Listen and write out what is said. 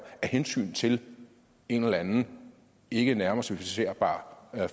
af hensyn til en eller anden ikke nærmere specificerbar